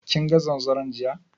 Kinga zanzaron jiya?